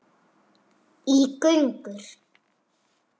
í gönur.